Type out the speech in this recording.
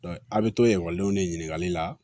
a' bɛ to ekɔlidenw de ɲininkali la